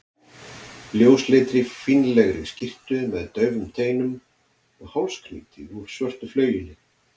ljósleitri, fínlegri skyrtu með daufum teinum og hálsknýti úr svörtu flaueli.